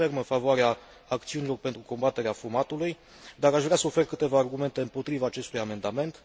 Sunt ferm în a susține acțiunile pentru combaterea fumatului, dar aș vrea să ofer câteva argumente împotriva acestui amendament.